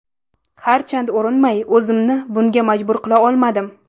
Harchand urinmay, o‘zimni bunga majbur qila olmadim.